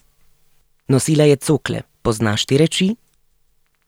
Nosila je cokle, poznaš te reči?